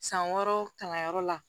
San wɔɔrɔ kalan yɔrɔ la